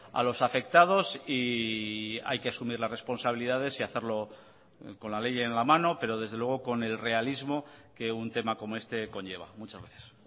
a los afectados y hay que asumir las responsabilidades y hacerlo con la ley en la mano pero desde luego con el realismo que un tema como este conlleva muchas gracias